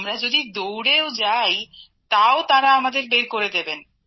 আমরা যদি দৌড়েও যাই তাও তাঁরা আমাদের বের করে দেবেন